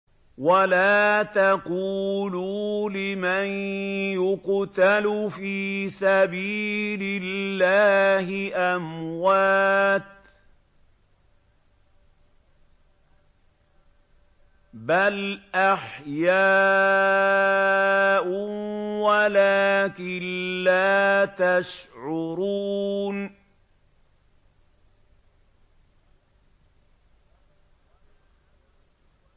وَلَا تَقُولُوا لِمَن يُقْتَلُ فِي سَبِيلِ اللَّهِ أَمْوَاتٌ ۚ بَلْ أَحْيَاءٌ وَلَٰكِن لَّا تَشْعُرُونَ